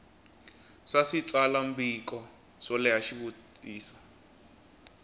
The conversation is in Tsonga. swa switsalwambiko swo leha xivutiso